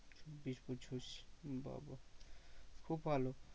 চব্বিশ পঁচিশ বা বা খুব ভালো।